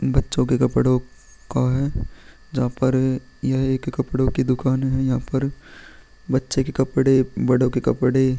बच्चो के कपड़ो का है जहाँ पर ये एक कपड़ो की दुकान है यहाँ पर बच्चो के कपड़े बड़ो के कपड़े--